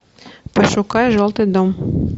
пошукай желтый дом